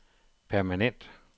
permanent